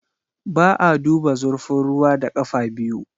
Ba a duba zurfin ruwa da ƙafa biyu.